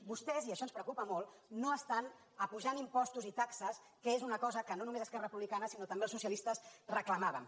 vostès i això ens preocupa molt no estan apujant impostos i taxes que és una cosa que no només esquerra republicana sinó també els socialistes reclamàvem